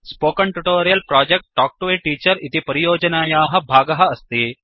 spoken tutorial project talk to a teacher इति परियोजनायाः भागः अस्ति